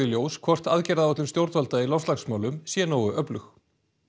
ljós hvort aðgerðaráætlun stjórnvalda í loftslagsmálum sé nógu öflug